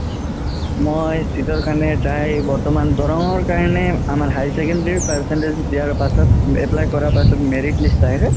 মই seat ৰ কাৰণে try বৰ্তমান দৰনং কাৰণে আমাৰ higher secondary percentage দিয়া পাছত apply কৰা পাছত merit list আহে যে